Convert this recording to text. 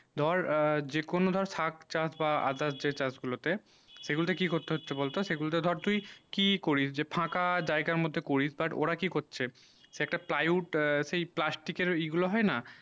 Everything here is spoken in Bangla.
ধর যে কোনো ধর সাগ চাষ বা others যে চাষ গুলু তে সে গুল তা কি করতে হচ্ছে সে গুল তা ধর তুই কি করিস যে ফাঁকা জায়গা মদদে করিস but ওরা কি করছে সে একটা plywood সেই plastic এর ঐই গুলু হয়ে না